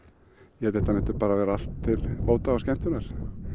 ég held þetta sé allt til bóta og skemmtunar